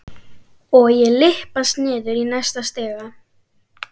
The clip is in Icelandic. Og ég lyppast niður í næsta stiga.